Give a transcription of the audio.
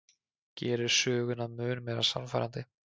Gerir söguna mun meira sannfærandi.